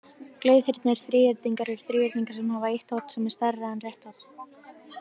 Gleiðhyrndir þríhyrningar eru þríhyrningar sem hafa eitt horn sem er stærra en rétt horn.